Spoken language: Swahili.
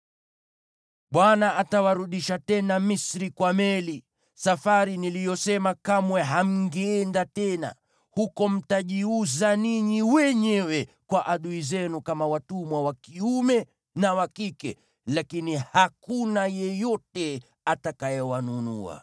Bwana atawarudisha tena Misri kwa meli, safari niliyosema kamwe hamngeenda tena. Huko mtajiuza ninyi wenyewe kwa adui zenu kama watumwa wa kiume na wa kike, lakini hakuna yeyote atakayewanunua.